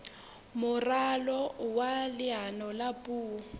moralo wa leano la puo